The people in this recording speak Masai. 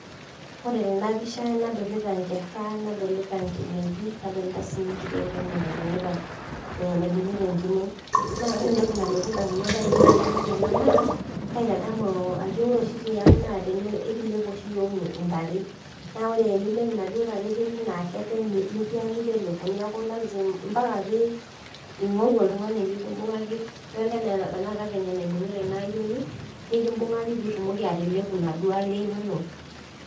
Ore tenapisha nadolta nkera nadolita nkinejik nadolita enkiti ayieni naibungita enkine na ore entoki nalotu ndamunot ainei tanadol ena na ore oshi tiang na ekilep ntare na ore enilep naduo tare ketii na kepee ambaka ningoru oltungani la ekimbungaki idilta anaa tanakata enaibungita ena ayieni nikimbungaku pitumoki atelepu kule inonok